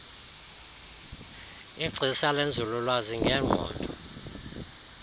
igcisa lenzululwazi ngengqondo